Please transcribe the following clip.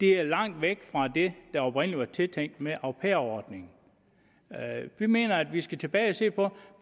er det langt væk fra det der oprindelig var tiltænkt med au pair ordningen vi mener at vi skal tilbage og se på